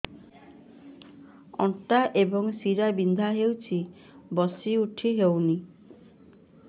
ଅଣ୍ଟା ଏବଂ ଶୀରା ବିନ୍ଧା ହେଉଛି ବସି ଉଠି ହଉନି